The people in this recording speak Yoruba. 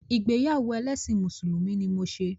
Ìgbéyàwó ẹlẹ́ṣin Mùsùlùmí ni mo ṣe.